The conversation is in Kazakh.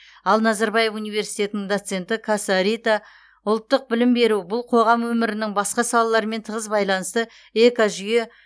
ал назарбаев университетінің доценті каса рита ұлттық білім беру бұл қоғам өмірінің басқа салаларымен тығыз байланысты экожүйе